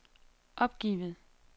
opgivet